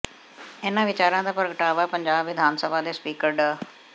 ਇਨ੍ਹਾਂ ਵਿਚਾਰਾਂ ਦਾ ਪ੍ਰਗਟਾਵਾ ਪੰਜਾਬ ਵਿਧਾਨ ਸਭਾ ਦੇ ਸਪੀਕਰ ਡਾ